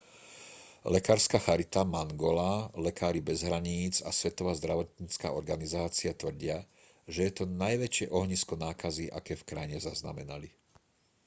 lekárska charita mangola lekári bez hraníc a svetová zdravotnícka organizácia tvrdia že je to najväčšie ohnisko nákazy aké v krajine zaznamenali